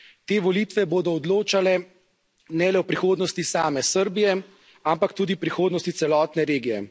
Te volitve bodo odločale ne le o prihodnosti same Srbije, ampak tudi prihodnosti celotne regije.